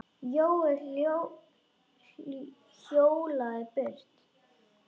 Jói hjólaði burt.